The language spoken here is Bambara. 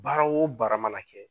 Baara o baara mana kɛ